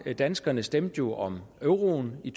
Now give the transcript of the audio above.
danskerne stemte jo om euroen i